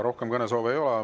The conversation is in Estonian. Rohkem kõnesoove ei ole.